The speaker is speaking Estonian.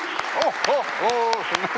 Oh-ohoo!